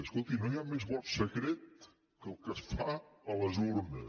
escolti no hi ha més vot secret que el que es fa a les urnes